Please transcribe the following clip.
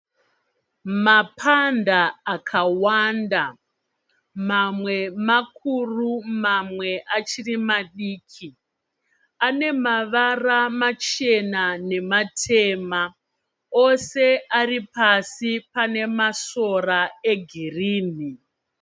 Mapanda akawanda mamwe makuru mamwe achiri madiki anemavara machena nematema ose ari pasi pane masora egirini.